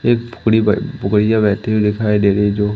एक बेहती हुई दिखाई दे रही है जो--